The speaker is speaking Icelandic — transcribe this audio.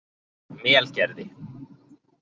Melgerði